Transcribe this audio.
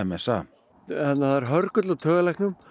það er hörgull á taugalæknum